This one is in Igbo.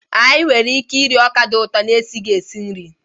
Anyị nwere ike iri ọka dị ụtọ na-esighi esi nri?